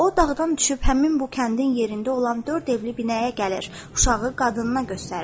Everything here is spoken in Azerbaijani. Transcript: O, dağdan düşüb həmin bu kəndin yerində olan dörd evli binəyə gəlir, uşağı qadınına göstərir.